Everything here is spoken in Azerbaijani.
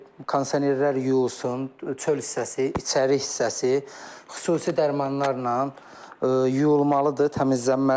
kondisionerlər yuyulsun, çöl hissəsi, içəri hissəsi xüsusi dərmanlarla yuyulmalıdır, təmizlənməlidir.